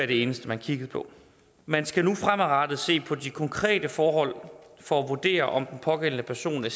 det eneste man kiggede på man skal nu fremadrettet se på de konkrete forhold for at vurdere om den pågældende person er